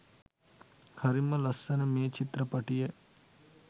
හරිම ලස්සන මේ චිත්‍රපටිය